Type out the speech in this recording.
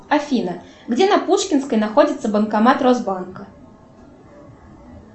афина где на пушкинской находится банкомат росбанка